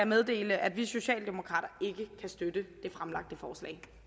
meddele at vi socialdemokrater ikke kan støtte